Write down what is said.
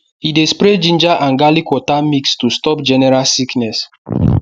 e dey spray ginger and garlic water mix to stop general sickness